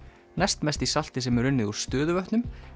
næst mest í salti sem er unnið úr stöðuvötnum